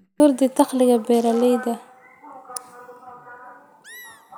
Kordhi dakhliga beeralayda.